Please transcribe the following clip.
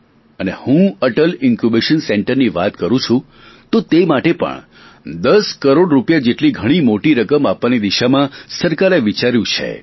અને હું અટલ ઇન્કયૂબેશન સેન્ટરની વાત કરૂ છું તો તે માટે પણ 10 કરોડ રૂપિયા જેટલી ઘણી મોટી રકમ આપવાની દિશામાં સરકારે વિચાર્યુ છે